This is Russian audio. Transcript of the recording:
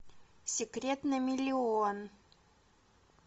секрет на миллион